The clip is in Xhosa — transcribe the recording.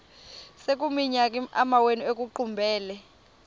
sekuyiminyaka amawenu ekuqumbele